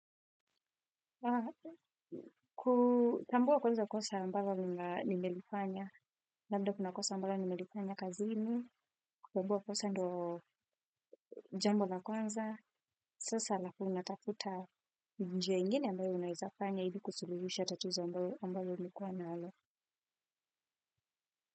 Kutambua kwanza kosa ambalo nimelifanya, labda kuna kosa ambalo nimelifanya kazini, kutambua kosa ndo jambo la kwanza, sasa alafu natafuta njia ingine ambayo unaeza fanya ili kusuluhisha tatizo ambalo lilikuwa nalo.